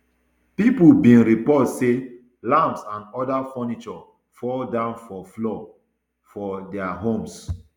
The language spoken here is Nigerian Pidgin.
pipo bin report say lamps and oda furniture fall down for floor for dia homes